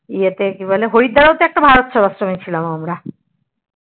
ইয়েতে কি বলে হরিদ্বার এও তো একটা ভারতসেবাশ্রম এ ছিলাম এ আমরা